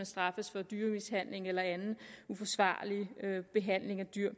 straffet for dyremishandling eller anden uforsvarlig behandling af dyr